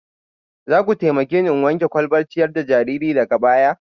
Za ku taimake ni in wanke kwalbar ciyar da jariri daga baya